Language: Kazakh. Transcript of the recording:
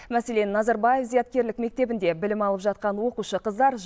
мәселен назарбаев зияткерлік мектебінде білім алып жатқан оқушы қыздар